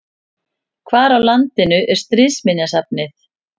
Hvar á landinu er Stríðsminjasafnið?